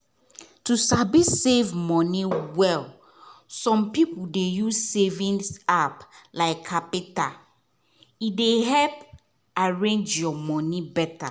to sabi save moni well some people dey use savings app like qapital e dey help arrange your money better.